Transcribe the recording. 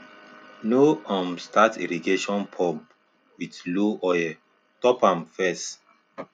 no um start irrigation pump with low oil top am up first